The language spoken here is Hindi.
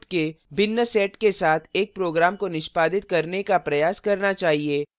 आपको inputs के भिन्न sets के साथ इस program को निष्पादित करने का प्रयास करना चाहिए